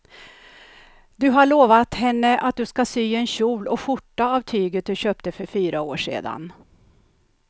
Du har lovat henne att du ska sy en kjol och skjorta av tyget du köpte för fyra år sedan.